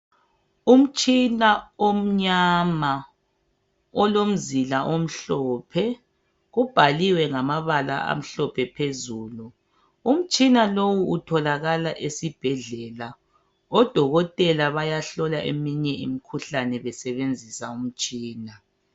Umtshina omnyama olomzila omhlophe ubhaliwe ngamabala amhlophe phezulu Umtshina lowu utholakala esibhedlela odokotela bayahlola eminye imikhuhlane besebenzisa imitshina.